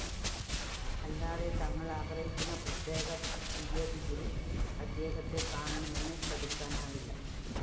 അല്ലാതെ തങ്ങള്‍ ആഗ്രഹിക്കുന്ന പ്രത്യേക തീയതിയില്‍ അദ്ദേഹത്തെ കാണണമെന്ന് ശഠിക്കാനാവില്ല